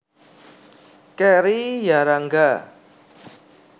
Kerry Yarangga